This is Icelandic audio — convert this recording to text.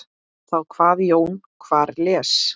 Þá kvað Jón: Hver las?